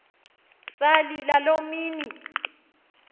salila loo mini